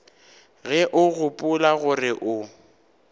ge o gopola gore o